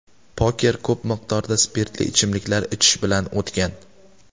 Poker ko‘p miqdorda spirtli ichimliklar ichish bilan o‘tgan.